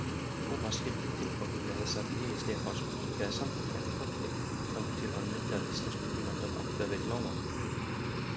Thomas skildi tilganginn með þessari lygi Stefáns og kinkaði samþykkjandi kolli, þangað til hann mundi að íslenskukunnáttan átti að vera í lágmarki.